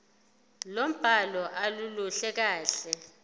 lombhalo aluluhle kahle